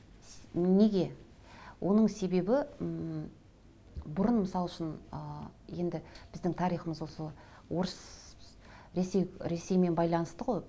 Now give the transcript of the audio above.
неге оның себебі ммм бұрын мысал үшін ыыы енді біздің тарихымыз осы орыс ресей ресеймен байланысты ғой